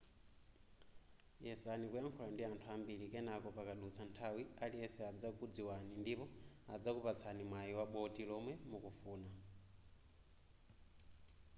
yesani kuyankhula ndi anthu ambiri kenako pakadutsa nthawi aliyense adzakudziwani ndipo adzakupatsani mwayi wa boti lomwe mukufuna